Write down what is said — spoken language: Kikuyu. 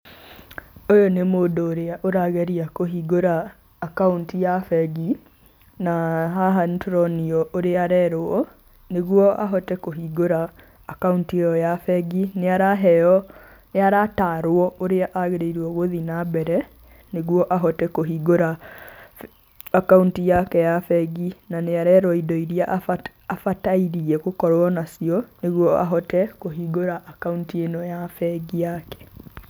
Ũyũ nĩ mũndũ ũrĩa ũrageria kũhingũra akaunti ya bengi na haha nĩ tũronio ũrĩa arerwo nĩguo ahote kũhingũra akaunti ĩyo ya bengi, nĩ araheo, nĩ aratarwo ũrĩa agĩrĩirwo gũthi na mbere nĩguo ahote kũhingũra akaunti yake ya bengi na nĩ arerwo indo iria abati, abatairie gũkorwo nacio nĩguo ahote kũhingũra akaunti ĩno ya bengi yake.